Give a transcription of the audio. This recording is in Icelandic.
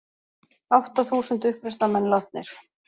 Átta þúsund uppreisnarmenn látnir